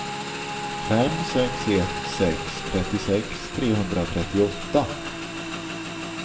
fem sex ett sex trettiosex trehundratrettioåtta